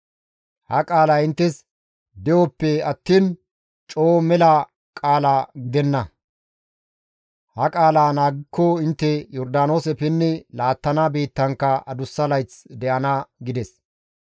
Ha qaalay inttes de7oppe attiin coo mela qaalaa gidenna; ha qaala naagikko intte Yordaanoose pinnidi laattana biittankka adussa layth intte de7ana» gides.